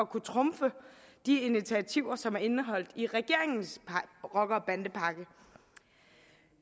kunne trumfe de initiativer som er indeholdt i regeringens rocker og bandepakke